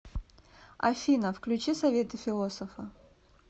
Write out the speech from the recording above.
афина включи советы философа